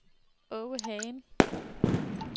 Åge Hagen